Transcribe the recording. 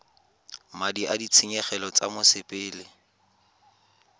madi a ditshenyegelo tsa mosepele